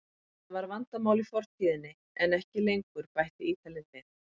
Þetta var vandamál í fortíðinni en ekki lengur, bætti Ítalinn við.